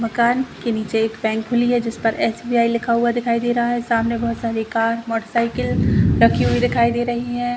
मकान के नीचे एक बैंक खुली है जिस पर एस_बी_आई लिखा हुआ दिखाई दे रहा है सामने बहुत सारी कार मोटरसाइकिल रखी हुई दिखाई दे रही हैं।